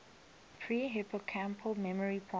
pre hippocampal memory processing